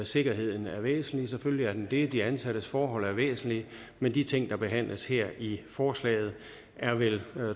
sikkerheden er væsentlig selvfølgelig er den det de ansattes forhold er væsentlige men de ting der behandles her i forslaget er vel